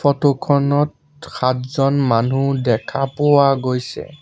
Photo খনত সাতজন মানুহ দেখা পোৱা গৈছে।